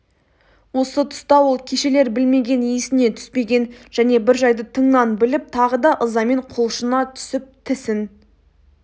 осы тұста ол кешелер білмеген есіне түспеген және бір жайды тыңнан біліп тағы да ызамен құлшына түсіп тісін